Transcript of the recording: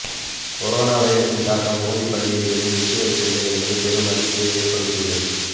corona வைரசின் தாக்கம் ஹோலி பண்டிகைகளையும் விட்டுவைக்கவில்லை என்பது பெரும் அதிர்ச்சியை ஏற்படுத்தியுள்ளது